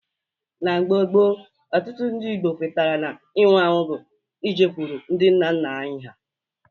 Na mgbe gboo, Ọtụtụ ndị Igbo kwetara na ịnwụ ọnwụ bụ ijekwuru ndị nna nna anyị ha